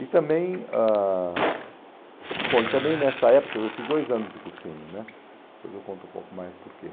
E também ãh bom e também nessa época, eu fiz dois anos de cursinho né, depois eu conto um pouco mais porquê.